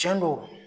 Tiɲɛ don